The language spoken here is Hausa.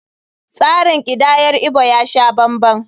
Tsarin kidayar Igbo ya sha banban.